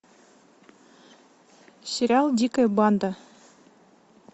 сериал дикая банда